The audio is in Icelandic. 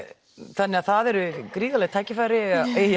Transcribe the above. þannig að það eru gríðarleg tækifæri